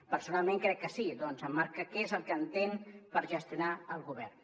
personalment crec que sí ja que emmarca què és el que entén per gestionar el govern